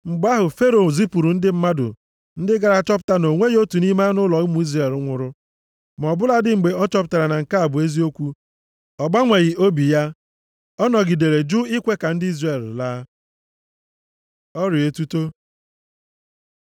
Mgbe ahụ Fero zipụrụ ndị mmadụ ndị gara chọpụta na o nweghị otu nʼime anụ ụlọ ụmụ Izrel nwụrụ. Ma ọ bụladị mgbe ọ chọpụtara na nke a bụ eziokwu, ọ gbanweghị obi ya, ọ nọgidere jụ ikwe ka ndị Izrel laa. Ọrịa etuto